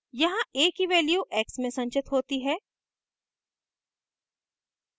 यहाँ a की value x में संचित होती है